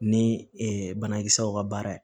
Ni banakisɛw ka baara ye